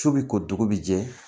Su bi ko dugu bi jɛ